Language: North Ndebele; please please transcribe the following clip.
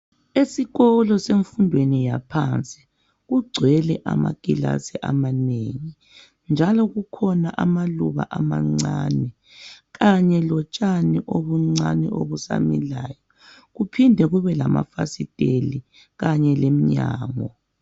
Esikolo semfundweni yaphansi, kugcwele amakilasi amanengi, njalo kukhona amaluba amancani, kanye lotshani obuncani obusamilayo, kuphinde kube lamafasiteli, kanye leminyango.